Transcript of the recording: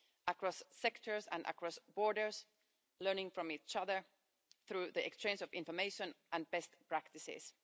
across sectors and across borders, learning from each other through the exchange of information and best practices.